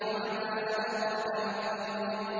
وَمَا أَدْرَاكَ مَا الطَّارِقُ